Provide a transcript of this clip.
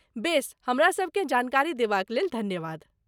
बेस, हमरासबकेँ जानकारी देबाक लेल धन्यवाद।